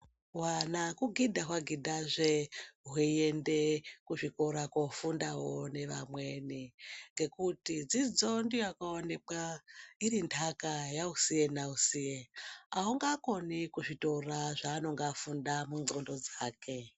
Hwana kugidha hwagidha zve hweienda kuzvikora kofundawo nevamweni ngekuti dzidzo ndiyo yakaonekwa iri nhaka yausiye nausiye haungakoni kuzvitora zvanenge afunda mundxondo dzake .